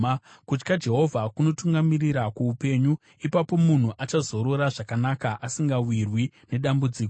Kutya Jehovha kunotungamirira kuupenyu: Ipapo munhu achazorora zvakanaka, asingawirwi nedambudziko.